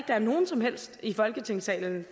der er nogen som helst i folketingssalen